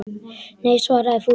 Nei svaraði Fúsi.